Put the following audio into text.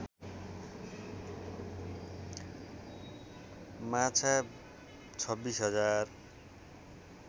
माछा २६ हजार